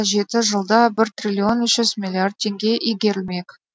жеті жылда бір триллион үш жүз миллиард теңге игерілмек